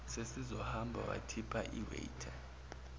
sesizohamba wathipa iwaiter